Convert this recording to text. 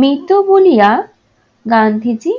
মেতো বলিরা গান্ধীজী